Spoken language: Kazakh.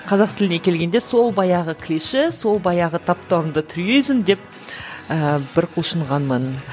қазақ тіліне келгенде сол баяғы клише сол баяғы таптауырынды альтруизм деп ііі бір құлшынғанмын